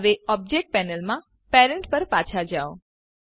હવે ઓબજેક્ટ પેનલમાં પેરેન્ટ પર પાછા જાઓ